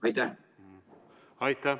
Aitäh!